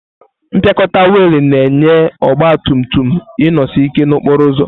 Mpịakọta wiil na-enye ọgba tum tum inosi ike n'okporo ụzọ.